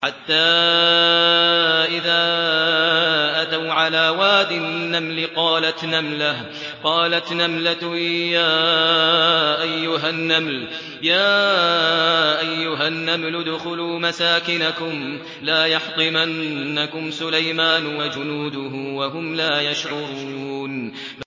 حَتَّىٰ إِذَا أَتَوْا عَلَىٰ وَادِ النَّمْلِ قَالَتْ نَمْلَةٌ يَا أَيُّهَا النَّمْلُ ادْخُلُوا مَسَاكِنَكُمْ لَا يَحْطِمَنَّكُمْ سُلَيْمَانُ وَجُنُودُهُ وَهُمْ لَا يَشْعُرُونَ